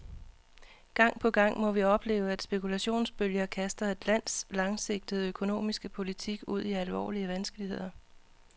Gang på gang må vi opleve, at spekulationsbølger kaster et lands langsigtede økonomiske politik ud i alvorlige vanskeligheder.